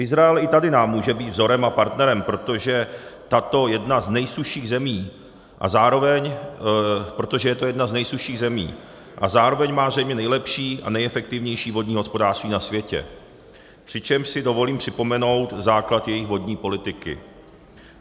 Izrael i tady nám může být vzorem a partnerem, protože je to jedna z nejsušších zemí a zároveň má zřejmě nejlepší a nejefektivnější vodní hospodářství na světě, přičemž si dovolím připomenout základ jejich vodní politiky.